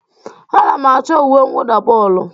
Ana m achọ uwe mwụda bọọlụ